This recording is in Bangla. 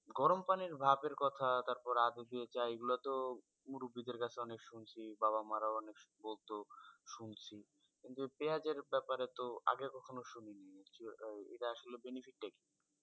গরম পানির ভাপের কথা, তারপরে আদা দিয়ে চা, এগুলো তো মুরুব্বি দের কাছে অনেক শুনছি। বাবা মা রাও অনেক বলতো শুনছি। কিন্তু পেঁয়াজ এর ব্যাপারে তো আগে কখনো শুনিনি, আহ এটা আসলে benefit টা কি?